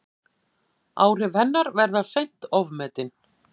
Áhrif hennar verða seint ofmetin.